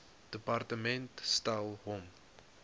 departement stel hom